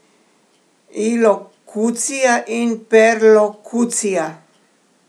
Ilokucija in perlokucija.